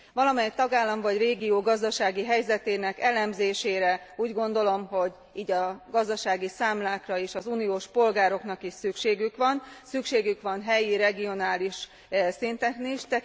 Valamely tagállam vagy régió gazdasági helyzetének elemzésére, úgy gondolom, hogy így a gazdasági számlákra és az uniós polgároknak is szükségük van, szükségük van helyi regionális szinten is.